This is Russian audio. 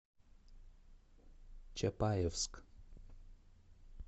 чапаевск